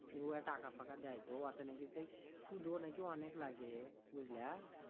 নিয়ে ওতে টাকা ফাকা দেয় তো ওতে নাকি সেই সুদও নাকি অনেক লাগে বুজলা